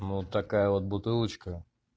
вот такая вот бутылочка